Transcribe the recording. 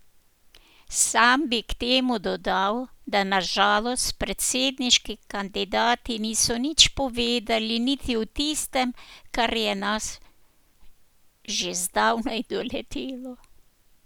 Sam bi k temu dodal, da na žalost predsedniški kandidati niso nič povedali niti o tistem, kar je nas že zdavnaj doletelo.